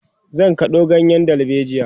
zan kado ganyen dalbejia